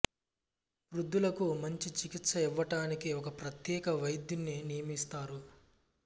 వృద్ధులకు మంచి చికిత్స ఇవ్వటానికి ఒక ప్రత్యేక వైద్యుని నియమిస్తారు